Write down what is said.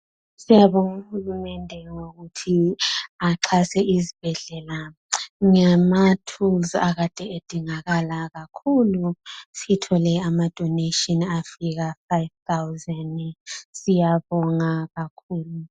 Siyabonga uhulumende ngokuthi axhase izibhedlela ngamathulusi akade edingakala kakhulu. Sithole ama "donations" afika "five thousand ",siyabonga kakhulu .